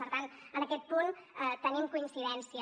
per tant en aquest punt tenim coincidència